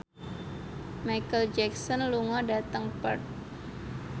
Micheal Jackson lunga dhateng Perth